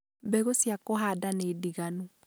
mbegũ cia kũhanda nĩ ndiganu.